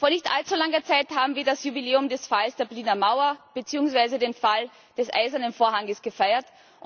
Vor nicht allzu langer Zeit haben wir das Jubiläum des Falls der Berliner Mauer beziehungsweise den Fall des Eisernen Vorhangs gefeiert.